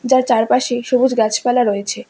তার চারপাশে সবুজ গাছপালা রয়েছে।